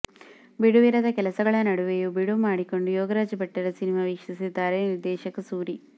ಬಿಡುವಿರದ ಕೆಲಸಗಳ ನಡುವೆಯೂ ಬಿಡುವು ಮಾಡಿಕೊಂಡು ಯೋಗರಾಜ್ ಭಟ್ಟರ ಸಿನಿಮಾ ವೀಕ್ಷಿಸಿದ್ದಾರೆ ನಿರ್ದೇಶಕ ಸೂರಿ